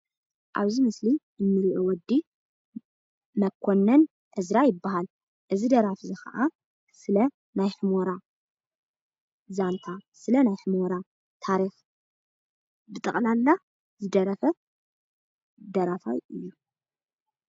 ኣብዚ ምስሊ እንርኦ ወዲ መኮነን እዝራ ይባሃል፡፡ እዚ ደራፊ እዚ ካዓ ስለ ናይ ሑመራ ዛንታ፣ ስለ ናይ ሑመራ ታሪክ ብጠቕላላ ዝደረፈ ደራፋይ እዩ፡፡